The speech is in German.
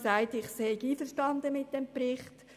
Deshalb war ich einverstanden mit dem Bericht.